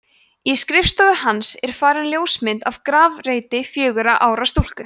í skrifborði hans er falin ljósmynd af grafreiti fjögurra ára stúlku